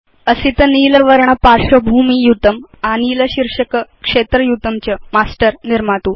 असित नील वर्णस्य पार्श्वभूमियुतं आनील शीर्षक क्षेत्र युतं च मास्टर् निर्मातु